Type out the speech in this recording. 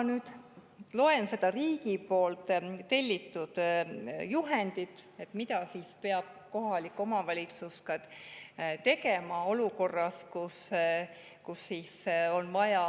Ma nüüd loen riigi tellitud juhendist, mida peab kohalik omavalitsus tegema olukorras, kus on vaja